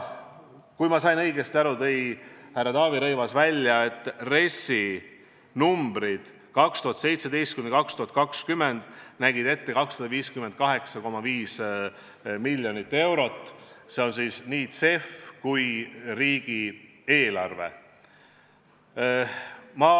Kui ma sain õigesti aru, siis härra Taavi Rõivas tõi välja, et RES nägi aastateks 2017–2020 ette 258,5 miljonit eurot, see sisaldab nii CEF-i kui ka riigieelarve vahendeid.